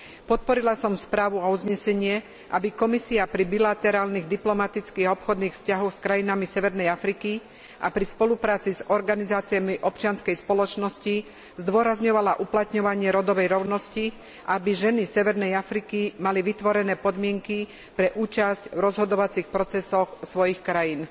Podporila som správu a uznesenie, aby Komisia pri bilaterálnych diplomatických a obchodných vzťahoch s krajinami severnej Afriky a pri spolupráci s organizáciami občianskej spoločnosti zdôrazňovala uplatňovanie rodovej rovnosti, aby ženy severnej Afriky mali vytvorené podmienky pre účasť v rozhodovacích procesoch svojich krajín.